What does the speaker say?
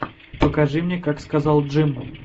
покажи мне как сказал джим